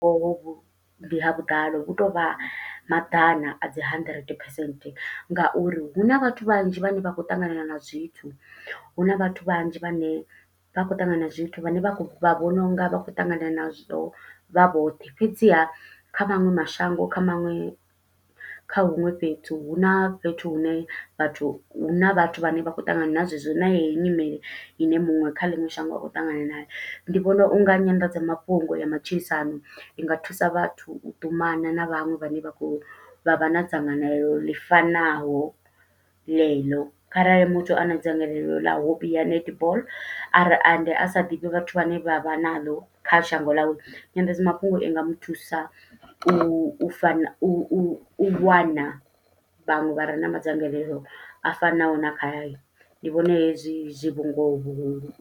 Hovhu ndi ha vhuḓalo, hu to u vha maḓana a dzi hundred percent nga uri hu na vhathu vhanzhi vhane vha khou ṱangana na zwithu. Hu na vhathu vhanzhi vhane vha khou ṱangana na zwithu, vhane vha khou vha vhona unga vha khou ṱangana nazwo vha vhoṱhe. Fhedziha kha maṅwe mashango, kha maṅwe kha huṅwe fhethu, hu na fhethu hune vhathu huna vhathu vhane vha khou ṱangana na zwe zwo na yeyi nyimele, ine muṅwe kha ḽiṅwe shango a khou ṱangana nayo. Ndi vhona unga nyanḓadza mafhungo ya matshilisano i nga thusa vhathu u ṱumana na vhaṅwe vhane vha khou vha vha na dzangalelo ḽi fanaho ḽeḽo. Kharali muthu a na dzangalelo ḽa hobby ya netball are ende a sa ḓivhi vhathu vhane vha vha na ḽo kha shango ḽawe. Nyanḓadza mafhungo i nga muthusa, u fana u u u wana vhaṅwe vha re na madzangalelo a fanaho na khahayo. Ndi vhona hezwi, zwi vhungoho vhuhulu.